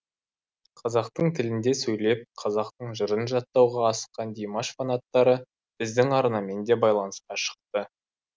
қазақтың тілінде сөйлеп қазақтың жырын жаттауға асыққан димаш фанаттары біздің арнамен де байланысқа шықты